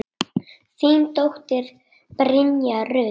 Þín dóttir, Brynja Rut.